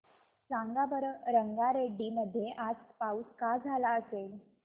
सांगा बरं रंगारेड्डी मध्ये आज पाऊस का झाला असेल